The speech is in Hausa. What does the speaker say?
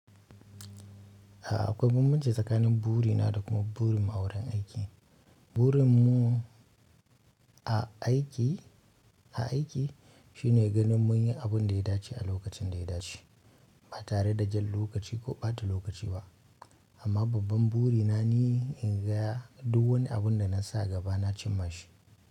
A'a akwai bambanci tsakanin buri na da kuma burin mu a wurin aiki. Burin mu a aiki, a aiki shine ganin mun yi abun da ya dace a lokacin da ya dace ba tare da jan lokaci ko ɓata lokaci ba. Amma babban buri na ni in ga duk wani abun da na sa a gaba na cimma shi.